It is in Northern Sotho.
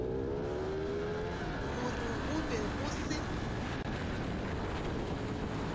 gore go be go se